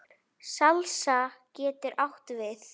Salsa getur átt við